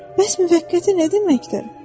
Bəs müvəqqəti nə deməkdir?